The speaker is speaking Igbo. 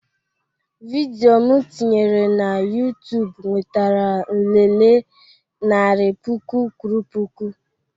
Vidio m tinyere na YuTubu nwetara nlele narị puku kwuru puku